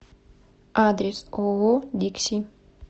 адрес ооо дикси